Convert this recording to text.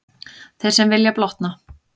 Þeir sem vilja blotna.